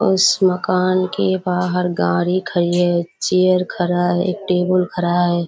उस मकान के बाहर गाड़ी खड़ी है चेयर खड़ा है टेबुल खड़ा है।